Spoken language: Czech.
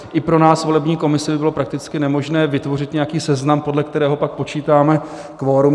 I pro nás, volební komisi, by bylo prakticky nemožné vytvořit nějaký seznam, podle kterého pak počítáme kvorum.